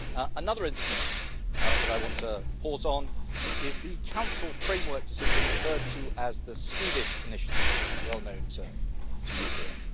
Another instrument that I want to pause on is the Council framework decision referred to as the Swedish initiative', well known to you here.